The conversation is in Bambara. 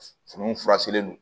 Furu in fura selen don